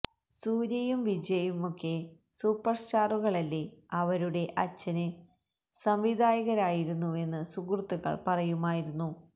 സൂര്യയും വിജയ് യുമൊക്കെ സൂപ്പര് സ്റ്റാറുകളല്ലേ അവരുടെ അച്ഛന് സംവിധായകരായിരുന്നുവെന്ന് സുഹൃത്തുക്കള് പറയുമായിരുന്നു